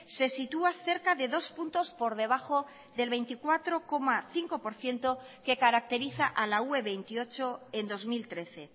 se sitúa cerca de dos puntos por debajo del veinticuatro coma cinco por ciento que caracteriza a la ue veintiocho en dos mil trece